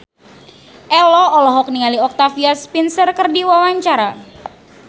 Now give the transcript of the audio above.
Ello olohok ningali Octavia Spencer keur diwawancara